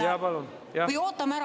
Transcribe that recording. Jaa, palun!